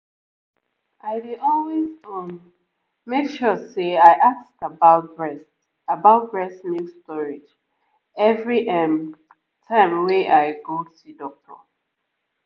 i dey always um make sure say i ask about breast about breast milk storage every ehm time wey i go see doctor